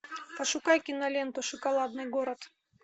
пошукай киноленту шоколадный город